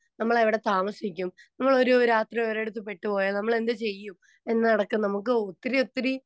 speaker 2 നമ്മള് എവിടെ താമസിക്കും നമ്മള് ഒരു രാത്രി ഒരിടത്തുപെട്ടുപോയാൽ നമ്മൾ എന്ത് ചെയ്യും എന്നടക്കം നമുക്ക് ഒത്തിരി ഒത്തിരി